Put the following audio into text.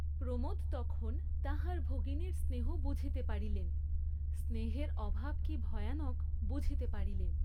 প্রমোদ তখন তাঁহার ভগিনীর স্নেহ বুঝিতে পারিলেন, স্নেহের অভাব কি ভয়ানক, বুঝিতে পারিলেন।